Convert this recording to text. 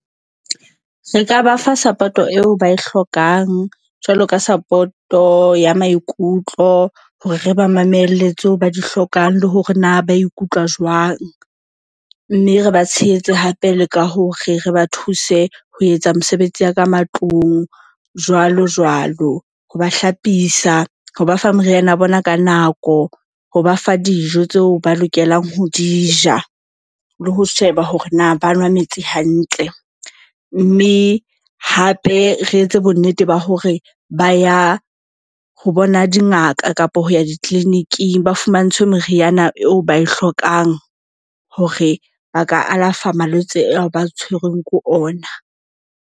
Re ka ba fa support-o eo ba e hlokang jwalo ka support-o ya maikutlo hore re ba mamele tse ba di hlokang le hore na ba ikutlwa jwang. Mme re ba tshehetse hape le ka hore re ba thuse ho etsa mosebetsi ya ka matlung jwalo jwalo. Ho ba hlapisa ho ba fa meriana ya bona ka nako ho ba fa dijo tseo ba lokelang ho di ja, le ho sheba hore na ba nwa metsi hantle. Mme hape re etse bonnete ba hore ba ya ho bona dingaka kapo ho ya di-clinic-ing ba fumantshwe meriana eo ba e hlokang. Hore ba ka alafa malwetse ao ba tshwerweng ke ona.